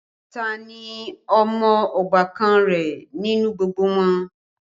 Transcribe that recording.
Ta ní ọmọ ọbàkan rẹ nínú gbogbo wọn?